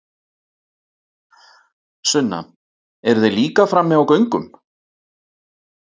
Sunna: Eru þeir líka frammi á göngum?